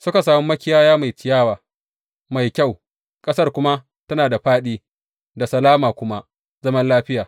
Suka sami makiyaya mai ciyawa mai kyau, ƙasar kuma tana da fāɗi, da salama, kuma zaman lafiya.